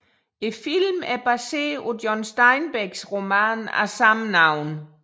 Filmen er baseret på John Steinbecks roman af samme navn